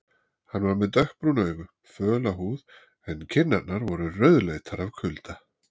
Hann var með dökkbrún augu, föla húð en kinnarnar voru rauðleitar af kulda.